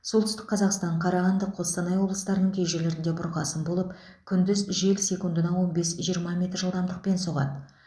солтүстік қазақстан қарағанды қостанай облыстарының кей жерлерінде бұрқасын болып күндіз жел секундына он бес жиырма метр жылдамдықпен соғады